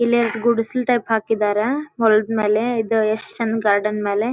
ಇಲ್ಲೆರಡು ಗುಡುಸಲ್ ಟೈಪ್ ಹಾಕಿದರ ಹೊಲ್ದ್ ಮೇಲೆ ಈದ ಎಷ್ಟ ಚಂದ್ ಗಾರ್ಡನ್ ಮೇಲೆ.